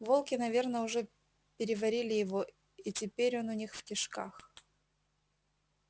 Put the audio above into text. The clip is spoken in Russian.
волки наверно уже переварили его и теперь он у них в кишках